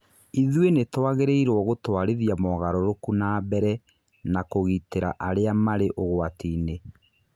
Ithũĩ nĩ tũagĩrĩirwo gũtũarithia mogarũrũku nambere na kũgitĩra arĩa marĩ ũgwati-inĩ.